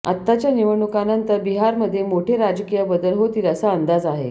आताच्या निवडणुकानंतर बिहारमध्ये मोठे राजकीय बदल होतील असा अंदाज आहे